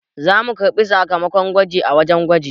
Za mu karɓo sakamakon gwajin a wajen gwaji